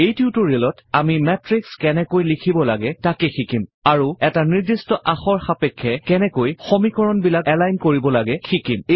এই টিউটৰিয়েলত আমি মাতৃশ কেনেকৈ লিখিব লাগে তাক শিকিম আৰু এটা নিৰ্দিষ্ট আখৰ সাপেক্ষে কেনেকৈ সমীকৰণবিলাক এলাইন কৰিব লাগে শিকিম